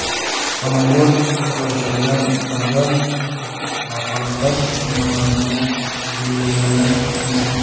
Samolyot qulashidan avval falokat signallarini yo‘llagani aytilmoqda .